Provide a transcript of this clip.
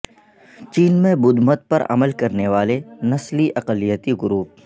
چین میں بدھ مت پر عمل کرنے والے نسلی اقلیتی گروپ